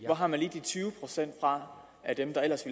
hvor har man lige de tyve procent fra af dem der ellers